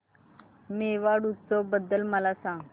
मेवाड उत्सव बद्दल मला सांग